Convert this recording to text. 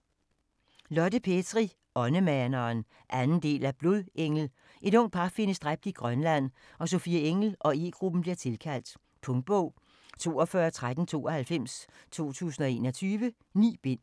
Petri, Lotte: Åndemaneren 2. del af Blodengel. Et ungt par findes dræbt i Grønland og Sofie Engell og E-gruppen bliver tilkaldt. Punktbog 421392 2021. 9 bind.